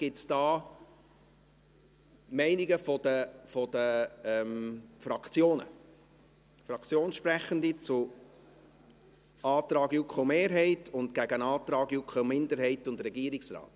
Gibt es dort Meinungen der Fraktionen, Fraktionssprechende zum Antrag der JuKo-Mehrheit gegen den Antrag der JuKo-Minderheit und des Regierungsrates?